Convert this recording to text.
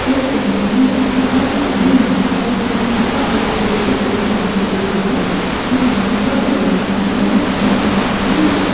इस इमेज मे देखियेगा सामने यहां पर एक शादी का स्टेज दिखाई दे रहा है और यहां पर बहोत सारे लोग नजर आ रहे हैं।